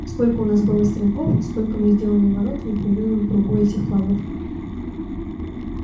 сколько у нас было стрелков столько мы сделали ворот в непрерывном кругу этих флагов